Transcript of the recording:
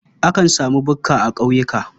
Akan sami bukka a ƙauyuka.